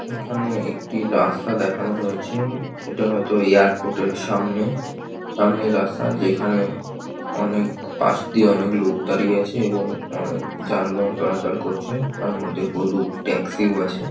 এখানে একটি রাস্তা দেখানো হয়েছে। এটা হয়তো এয়ারপোর্ট এর সামনে। সামনের রাস্তা যেখানে অনেক পাশদিয়ে অনেক লোক দাঁড়িয়ে আছে এবং অনেক যানবাহন চলাচল করছে তার মধ্যে হলুদ ট্যাক্সি ও আছে।